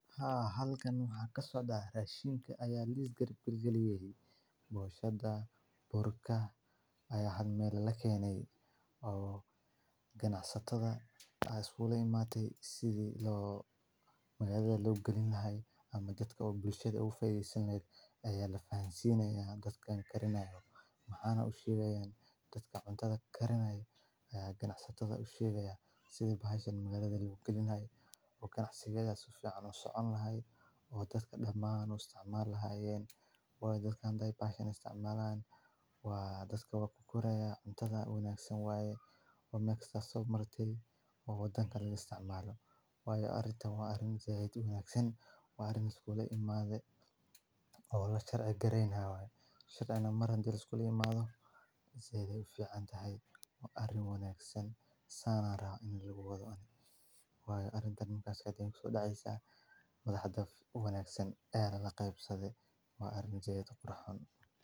Haa, halkaan xaqaa sooda raashiin ka ayaa liis gariib galgali wey. Boshada burka ayaa had meel la keenay oo ganacsatada isuulee maate. Isi loo marade loogu gelin lahay ama jad ka buulshada u fayay sameeyay. Ayaa la faham siinaya dadka aan karinayo maxaana u shiiweyn dadka cuntada karinay ayaa ganacsatada u shiiweya sida baahiseen marade loogu gelinay oo ganacsiga suuqaanoo socon lahay oo dadka dhammaan istaamaal lahaayeen waayo dadka hantay baahay istaamaalaan? Waa adoo waa ku guuraya cuntada unug aysan waaye oo maxda sob marti u dan kalligii istaamaalo waayo arinta. Wa arin jee u unug aysan wa arin iskuuli maade oo lagu sharci gareynayo. Shiir aan maran jir iskooli maado seedi u fiican yahay arin unug aysan saaran in lagu wada hadhe. Way arin tan ka cad hayso dhacaya madaxda unug aysan eeyada la qaybsaday. Way arin jee toban ahayn.